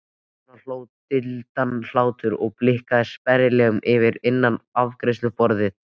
Konan hló dillandi hlátri og blikkaði sperrilegginn fyrir innan afgreiðsluborðið.